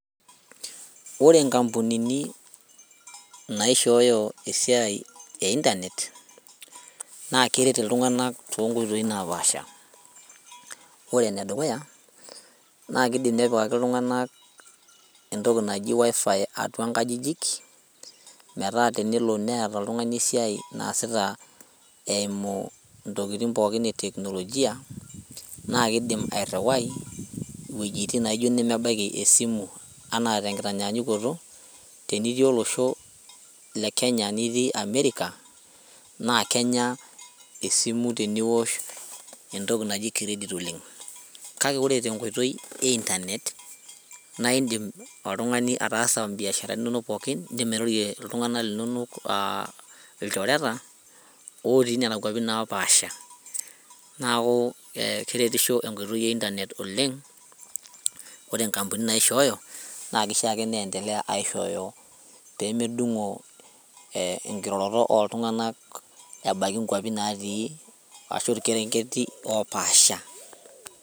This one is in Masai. Ore inkampunini naishooyo esiai e internet naa keret iltung'anak tonkoitoi napaasha ore enedukuya naa kidim nepikaki iltung'anak entoki naji wifi atua nkajijik metaa tenelo neeta oltung'ani esiai naasita eimu intokiting pookin e teknolojia naa kidim airriwai iwuejitin naijo inemebaiki esimu ena tenkitanyanyukoto tenitii olosho le kenya nitii america naa kenya esimu teniwosh entoki naji credit oleng kake ore tenkoitoi e internet naindim oltung'ani ataasa imbiasharani inonk pookin indim airorie iltung'anak linonok aa ilchoreta otii nena kuapi napaasha naku keretisho enkoitoi e internet oleng ore inkampunini naishooyo naa kisho ake niendelea aishooyo pemedung'o eh enkiroroto oltung'anak ebaki inkuapi natii ashu ilkerenget opaasha.